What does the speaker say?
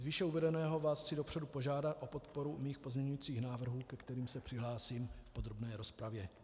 Z výše uvedeného vás chci dopředu požádat o podporu mých pozměňovacích návrhů, ke kterým se přihlásím v podrobné rozpravě.